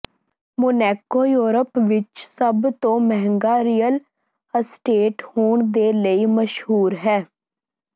Monaco Europe ਵਿਚ ਸਭ ਤੋਂ ਮਹਿੰਗਾ ਰੀਅਲ ਅਸਟੇਟ ਹੋਣ ਦੇ ਲਈ ਮਸ਼ਹੂਰ ਹੈ